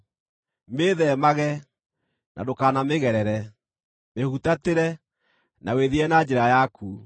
Mĩĩtheemage, na ndũkanamĩgerere; mĩhutatĩre, na wĩthiĩre na njĩra yaku.